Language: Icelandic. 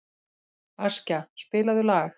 Askja, spilaðu lag.